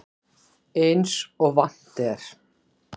Eins og vant er.